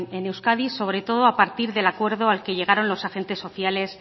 en euskadi sobre todo a partir del acuerdo al que llegaron los agentes sociales